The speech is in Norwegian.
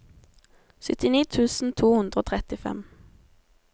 syttini tusen to hundre og trettifem